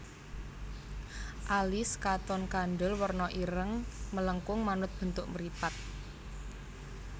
Alis katon kandel werna ireng melengkung manut bentuk mripat